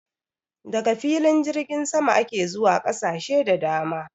Daga filin jirgin sama ake zuwa ƙasashe da dama